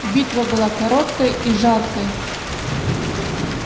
битва была короткой и жаркой